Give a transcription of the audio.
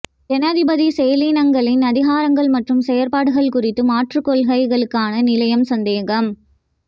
ஜனாதிபதி செயலணிகளின் அதிகாரங்கள் மற்றும் செயற்பாடுகள் குறித்து மாற்றுக்கொள்கைகளுக்கான நிலையம் சந்தேகம்